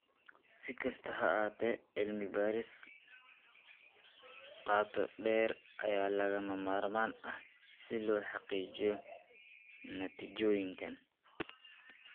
Si kastaba ha ahaatee, cilmi baaris qoto dheer ayaa lagama maarmaan ah si loo xaqiijiyo natiijooyinkan.